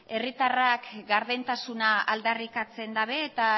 herritarrak gardentasuna aldarrikatzen dabe eta